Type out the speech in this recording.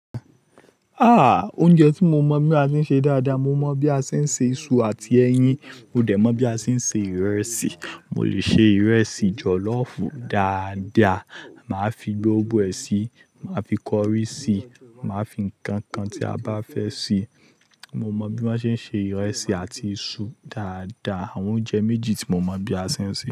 Ah! Oúnjẹ tí mo mọ̀ bí a ṣe ń ṣe dáadáa, mo mọ̀ bí a ṣe ń se iṣu àti ẹyin, mo dẹ̀ mọ̀ bí a ṣe ń se ìrẹsì. Mo lè ṣe ìrẹsì jọ̀lọ́ọ̀fù dáadáa, màá fi gbogbo ẹ síi, màá fi kọrí síi, màá fi ǹkan kan tí a bá fẹ́ sí i. Mo mọ bí wọ́n ṣe ń se ìrẹsì àti iṣu dáadáa. Àwọn oúnjẹ méjì tí mo mọ bí a ṣe ń ṣe.